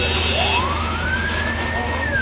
Gəlin qabağa, gəlin qabağa.